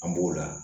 An b'o la